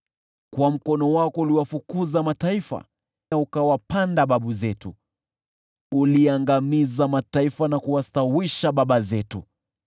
Kwa mkono wako uliwafukuza mataifa na ukawapanda baba zetu, uliangamiza mataifa na kuwastawisha baba zetu.